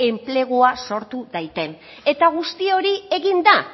enplegua sortu dadin eta guzti hori egin da